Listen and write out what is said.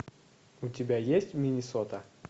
у тебя есть миннесота